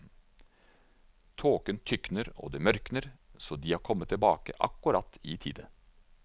Tåken tykner og det mørkner, så de har kommet tilbake akkurat i tide.